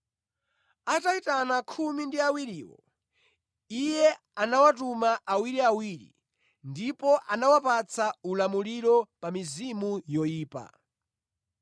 Atayitana khumi ndi awiriwo, Iye anawatuma awiriawiri ndipo anawapatsa ulamuliro pa mizimu yoyipa.